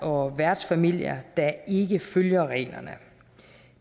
og værtsfamilier der ikke følger reglerne